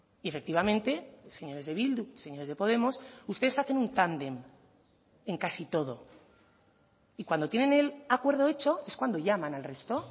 y efectivamente señores de bildu señores de podemos ustedes hacen un tándem en casi todo y cuando tienen el acuerdo hecho es cuando llaman al resto